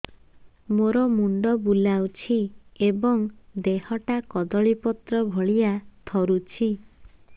ମୋର ମୁଣ୍ଡ ବୁଲାଉଛି ଏବଂ ଦେହଟା କଦଳୀପତ୍ର ଭଳିଆ ଥରୁଛି